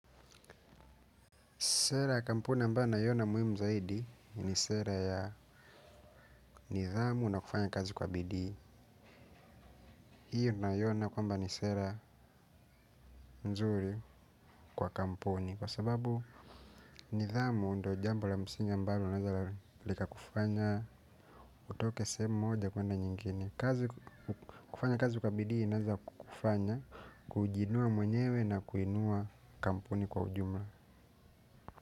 Sera ya kampuni ambayo naiona muhimu zaidi ni sera ya nidhamu na kufanya kazi kwa bidii. Hiyo naiona kwamba ni sera nzuri kwa kampuni kwa sababu nidhamu ndio jambo la msingi ambalo linaweza likakufanya utoke sehemu moja kwenda nyingine. Kufanya kazi kwa bidii inaweza kufanya kujiinua mwenyewe na kuinua kampuni kwa ujumla.